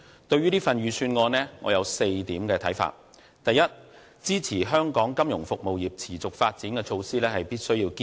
對於這份預算案，我有4點看法：第一、支持香港金融服務業持續發展的措施必須予以堅持。